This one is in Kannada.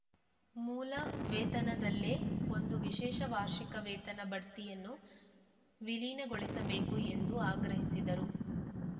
ಮೂಲ ವೇತನದಲ್ಲೇ ಒಂದು ವಿಶೇಷ ವಾರ್ಷಿಕ ವೇತನ ಬಡ್ತಿಯನ್ನು ವಿಲೀನಗೊಳಿಸಬೇಕು ಎಂದು ಆಗ್ರಹಿಸಿದರು